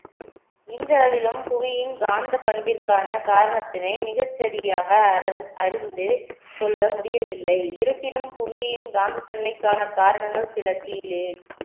இன்றளவிலும் புவியின் காந்த பண்பிற்கான காரணத்தினை மிகச்சரியாக அற~ அறிந்து கொள்ள முடியவில்லை இருப்பினும் புவியின் காந்தி தன்மைக்கான காரணங்கள் சில கீழே